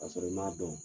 Ka sɔrɔ i m'a dɔn